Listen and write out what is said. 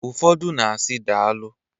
Ụfọdụ na-asi, "Daalụ!"